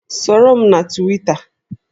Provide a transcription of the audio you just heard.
Soro m na Twita